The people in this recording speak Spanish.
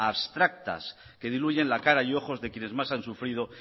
abstractas que diluyen la cara y ojos de quienes más han sufrido